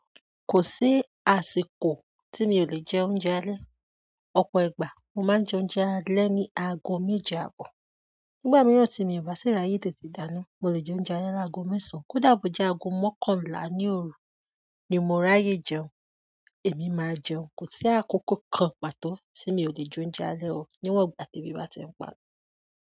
Kò sí àsìkò tí mi ò lè jẹ oúnjẹ alẹ́. Ọ̀pọ̀ ìgbà mo máa ń jẹ oúnjẹ alẹ́ ní ago méje àbọ̀. Nígbà míràn tí mi ò bá sì ráyè tètè dáná, mo lè jẹ oúnjẹ alẹ́ lágo mẹ́sàn án. Kódà bó jẹ́ ago mọ́kànlá ní òru ni mo ráyè jẹun, èmi máa jẹun. Kò sí àkókò kan pàtó tí mi ò lè jẹ oúnjẹ alẹ́ o, níwọ̀n ìgbà tí ebi bá ti ń pa.